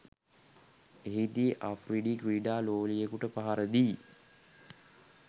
එහිදී අෆ්රිඩි ක්‍රීඩා ලෝලියෙකුට පහරදී